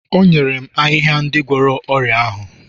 o nyere m ahịhịa ndị na-agwọ ọrịa ahụ